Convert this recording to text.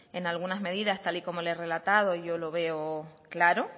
en algunas medidas tal y como le he relatado yo lo veo claro